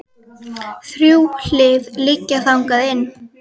Þrjú hlið liggja þangað inn.